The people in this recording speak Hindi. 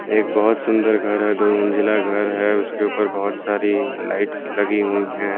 एक बहोत सुंदर घर है दो मंजिला घर है उसके ऊपर बहोत सारी लाइट्स लगी हुई हैं।